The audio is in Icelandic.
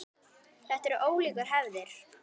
Þetta eru ólíkar hefðir.